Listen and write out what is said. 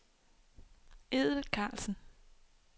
Edel Carlsen